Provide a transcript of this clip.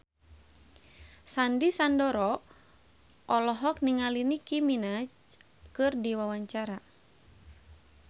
Sandy Sandoro olohok ningali Nicky Minaj keur diwawancara